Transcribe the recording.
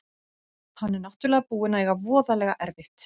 Hann er náttúrlega búinn að eiga voðalega erfitt.